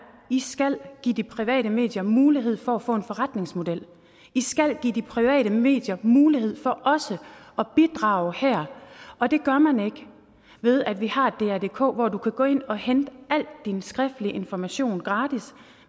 i skal give de private medier mulighed for at få en forretningsmodel i skal give de private medier mulighed for også at bidrage her og det gør man ikke ved at vi har et drdk hvor du kan gå ind og hente al din skriftlige information gratis